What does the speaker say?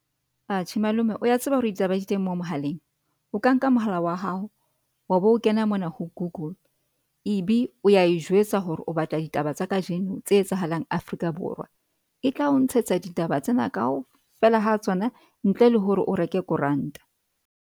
Atjhe malome o ya tseba hore ditaba di teng mo mohaleng? O ka nka mohala wa hao wa be o kena mona ho Google e be o ya e jwetsa hore o batla ditaba tsa kajeno tse etsahalang Afrika Borwa e tla o ntshetsa ditaba tsena kaofela ha tsona ntle le hore o reke koranta.